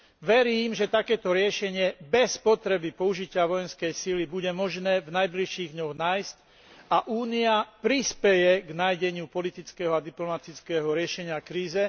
Verím, že takéto riešenie bez potreby použitia vojenskej sily bude možné v najbližších dňoch nájsť a Únia prispeje k nájdeniu politického a diplomatického riešenia krízy.